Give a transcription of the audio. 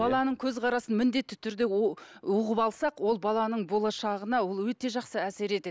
баланың көзқарасын міндетті түрде ұғып алсақ ол баланың болашағына ол өте жақсы әсер етеді